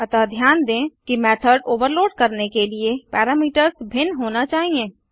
अतः ध्यान दें कि मेथड ओवरलोड करने के लिए पैरामीटर्स भिन्न होना चाहिए